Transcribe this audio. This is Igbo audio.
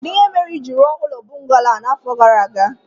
Kedụ ihe mere i jiri rụọ ụlọ bọngalo a n'afọ gara aga